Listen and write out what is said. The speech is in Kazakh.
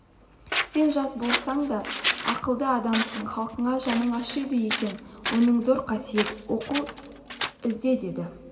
сен жас болсаң да ақылды адамсың халқыңа жаның ашиды екен оның зор қасиет оқу ізде деді